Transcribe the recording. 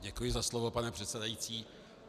Děkuji za slovo, pane předsedající.